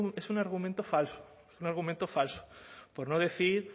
pero es un argumento falso un argumento falso por no decir